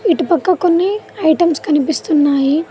ఇటు పక్క కొన్ని ఐటమ్స్ కనిపిస్తున్నాయీ.